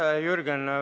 Aitäh, Jürgen!